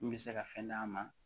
Min bɛ se ka fɛn d'a ma